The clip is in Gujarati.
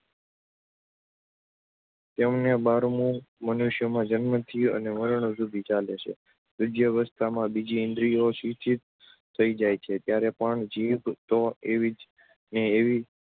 તેમને બારમું મનુષ્યમાં જન્મથી અને મારણ સુધી ચાલે છે. વૃદ્ધાવસ્થામાં બીજી ઇન્દ્રિયો શિથિલ થઈ જાય છે ત્યારે પણ જીભ તો એવી ને એવી